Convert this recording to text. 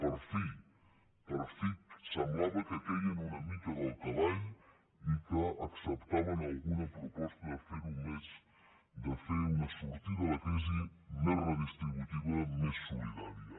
per fi per fi semblava que queien una mica del cavall i que acceptaven alguna proposta de fer una sortida de la crisi més redistributiva més solidària